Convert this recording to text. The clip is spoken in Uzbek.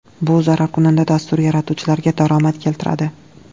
Bu zararkunanda dastur yaratuvchilariga daromad keltiradi.